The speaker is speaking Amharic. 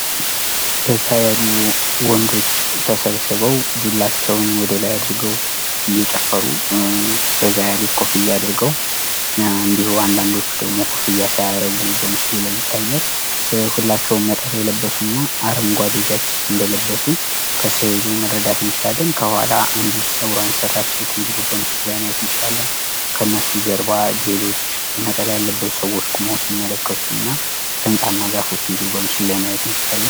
በዛ ያሉ ወንዶች ተሰብስበው ዱላቸውን ወደላይ አድርገው እየጨፈሩ በዛ ያሉት ኮፍያ አድርገው እንዲሁም አንዳንዶቹ ደሞ ኮፍያ ሳያረጉ በምስሉ ላይ ይታያል። ሁላቸውም ነጠላ የለበሱ አረንጓዴ ጃኬት እንደለበሱ ከስእሉ መረዳት እንችላለን። ከኋላ አንዲት ጸጉሯን የተሰራች ሴት እንዲሁ በምስሉ ላይ ማየት እንችላለን። ከነሱ ጀባ ሌሎች ነጠላ የለበሱ ሰዎች ቁመው ሲመለከቱ እና ህንጻ እና ዛፎች እንዲሁ በምስሉ ላይ ማየት እንችላለን።